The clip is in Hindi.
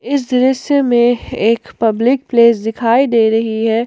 इस दृश्य में एक पब्लिक प्लेस दिखाई दे रही है।